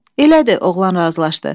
Elədir, oğlan razılaşdı.